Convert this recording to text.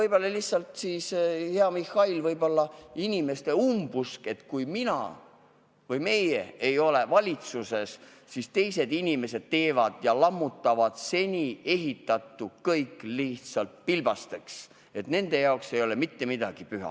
Hea Mihhail, võib-olla on see lihtsalt inimeste umbusk, et kui mina või meie ei ole valitsuses, siis teised lammutavad kõik seni ehitatu pilbasteks, sest nende jaoks ei ole ju mitte miski püha.